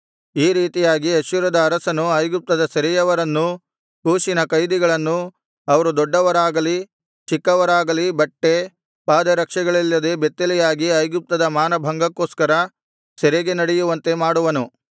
ಈ ರೀತಿಯಾಗಿ ಅಶ್ಶೂರದ ಅರಸನು ಐಗುಪ್ತದ ಸೆರೆಯವರನ್ನೂ ಕೂಷಿನ ಕೈದಿಗಳನ್ನೂ ಅವರು ದೊಡ್ಡವರಾಗಲಿ ಚಿಕ್ಕವರಾಗಲಿ ಬಟ್ಟೆ ಪಾದರಕ್ಷೆಗಳಿಲ್ಲದೆ ಬೆತ್ತಲೆಯಾಗಿ ಐಗುಪ್ತದ ಮಾನಭಂಗಕ್ಕೋಸ್ಕರ ಸೆರೆಗೆ ನಡೆಯುವಂತೆ ಮಾಡುವನು